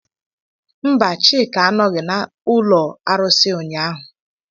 Mba, Chika anọghị n'ụlọ arụsị ụnyahụ.